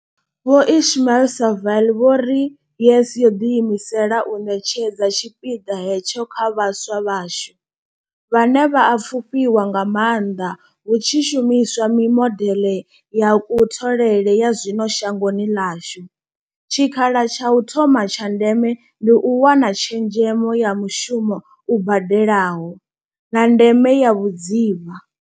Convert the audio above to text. Vho Ismail-Saville vho ri YES yo ḓi imisela u ṋetshedza tshipiḓa hetsho kha vhaswa vhashu, vhane vha a fhufhiwa nga maanḓa hu tshi shumi swa mimodeḽe ya kutholele ya zwino shangoni ḽashu, tshikha la tsha u thoma tsha ndeme ndi u wana tshezhemo ya mushumo u badelaho, na ndeme ya vhudzivha.